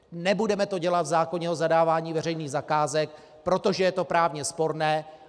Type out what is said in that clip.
Nebudeme to dělat v zákoně o zadávání veřejných zakázek, protože je to právně sporné.